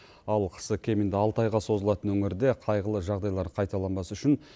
ал қысы кемінде алты айға созылатын өңірде қайғылы жағдайлар қайталанбас үшін